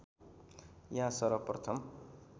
यहाँ सर्वप्रथम